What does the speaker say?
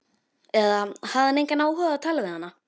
Eða hafði hann engan áhuga á að tala við hana?